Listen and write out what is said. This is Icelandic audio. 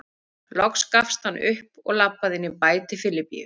Loks gafst hann upp og labbaði inn í bæ til Filippíu.